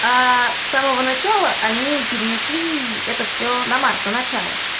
а с самого начала они перенесли это все на март на начало